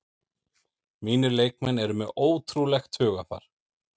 Mínir leikmenn eru með ótrúlegt hugarfar